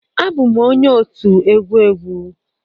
Abụ m onye otu egwu egwu.